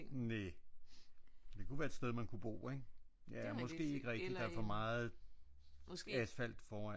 Næh det kunne være et sted man kunne bo ik? Ja måske ikke rigtigt der er for meget asfalt foran